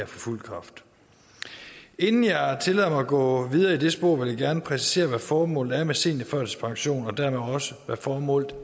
fuld kraft inden jeg tillader mig at gå videre i det spor vil jeg gerne præcisere hvad formålet er med seniorførtidspension og dermed også hvad formålet